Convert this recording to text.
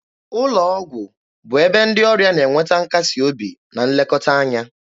Ụlọ ọgwụ bụ ebe ndị ọrịa na enweta nkasi obi na nlekọta anya.